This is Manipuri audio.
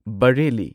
ꯕꯔꯦꯜꯂꯤ